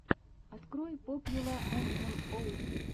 открой попьюла эм эм оус